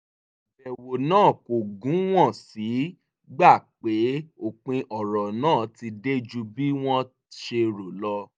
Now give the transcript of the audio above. àbẹ̀wò náà kò gùn wọ́n sì gbà pé òpin ọ̀rọ̀ náà ti dé ju bí wọ́n ṣe rò lọ